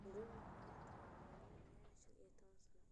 Jomo Kenyatta ayaa hogaaminayay shan iyo toban sano.